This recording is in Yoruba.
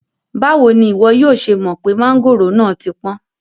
Bawo ni iwọ yoo ṣe mọ pe mangoro naa ti pọn?